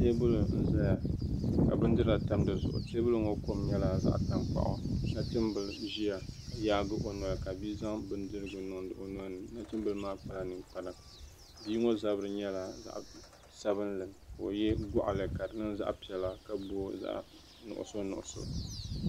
Teebuli n ʒɛya ka bindira tam dizuɣu teebuli ŋo kom nyɛla zaɣ tankpaɣu nachimbili ʒiya ka yaagi o noli ka bia zaŋ bindirigu niŋ o nolini nachimbili maa kpala ninkpara bia ŋo zabiri nyɛla zaɣ sabinli ka o yɛ goɣali ka di niŋ zaɣ piɛla ka booi zaɣ nuɣso nuɣso